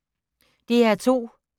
DR2